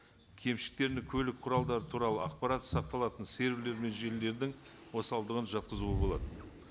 кемшіліктеріне көлік құралдары туралы ақпарат сақталатын серверлер мен желілердің осалдығын жатқызуға болады